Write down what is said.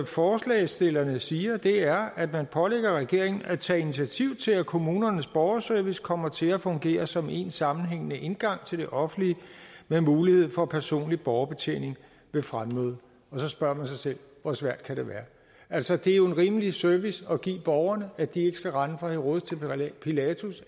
forslagsstillerne siger det er at man pålægger regeringen at tage initiativ til at kommunernes borgerservice kommer til at fungere som én sammenhængende indgang til det offentlige med mulighed for personlig borgerbetjening ved fremmøde og så spørger man sig selv hvor svært kan det være altså det er jo en rimelig service at give borgerne at de ikke skal rende fra herodes til pilatus